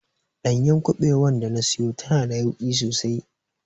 Ɗanyar kubewar da na siyo tana da yauƙi sosai.